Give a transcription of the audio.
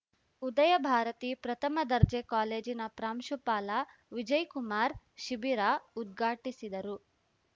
ಉದಯಭಾರತಿ ಪ್ರಥಮ ದರ್ಜೆ ಕಾಲೇಜಿನ ಪ್ರಾಂಶುಪಾಲ ವಿಜಯಕುಮಾರ್ ಶಿಬಿರ ಉದ್ಘಾಟಿಸಿದರು